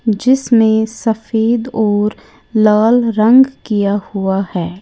जिसमें सफेद और लाल रंग किया हुआ है।